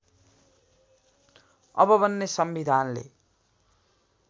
अब बन्ने संविधानले